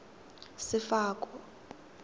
sefako